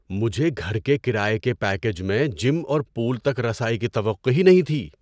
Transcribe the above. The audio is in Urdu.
مجھے گھر کے کرایے کے پیکیج میں جم اور پول تک رسائی کی توقع ہی نہیں تھی۔